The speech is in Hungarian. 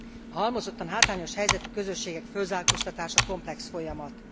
A halmozottan hátrányos helyzetű közösségek fölzárkóztatása komplex folyamat.